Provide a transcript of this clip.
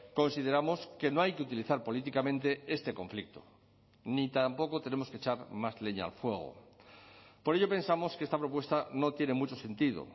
consideramos que no hay que utilizar políticamente este conflicto ni tampoco tenemos que echar más leña al fuego por ello pensamos que esta propuesta no tiene mucho sentido